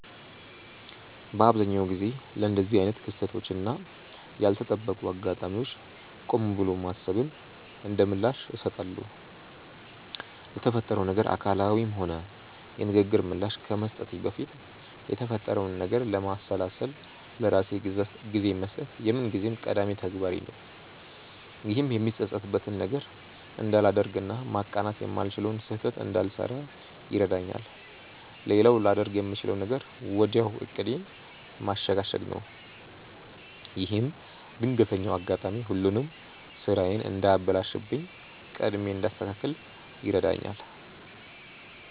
በአብዛኛው ጊዜ ለእንደዚህ አይነት ክስተቶች እና ያልተጠበቁ አጋጣሚዎች ቆም ብሎ ማሰብን እንደምላሽ እሰጣለሁ። ለተፈጠረው ነገር አካላዊም ሆነ የንግግር ምላሽ ከመስጠቴ በፊት የተፈጠረውን ነገር ለማሰላሰል ለራሴ ጊዜ መስጠት የምንጊዜም ቀዳሚ ተግባሬ ነው። ይህም የምጸጸትበትን ነገር እንዳላደርግ እና ማቃናት የማልችለውን ስህተት እንዳልሰራ ይረዳኛል። ሌላው ላደርግ የምችለው ነገር ወዲያው ዕቅዴን ማሸጋሸግ ነው። ይህም ድንገተኛው አጋጣሚ ሁሉንም ስራዬን እንዳያበላሽብኝ ቀድሜ እንዳስተካክል ይረዳኛል።